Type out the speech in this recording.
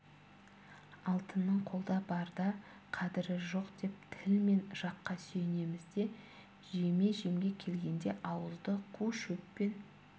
алтынның қолда барда қадірі жоқ деп тіл мен жаққа сүйенеміз де жеме-жемге келгенде ауызды қу шөппен